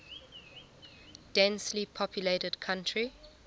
densely populated country